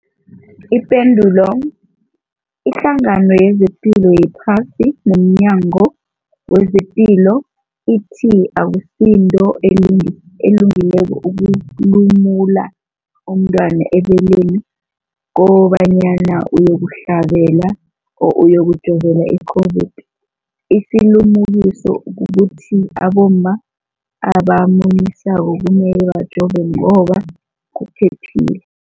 Ipendulo, iHlangano yezePilo yePhasi nomNyango wezePilo ithi akusinto elungileko ukulumula umntwana ebeleni kobanyana uyokuhlabela or uyokujovela i-COVID-19. Isilimukiso kukuthi abomma abamunyisako kumele bajove ngoba kuphephile.